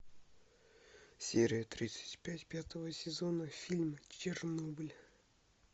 серия тридцать пять пятого сезона фильм чернобыль